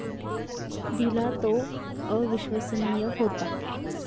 दिला तो अविश्वसनीय होता.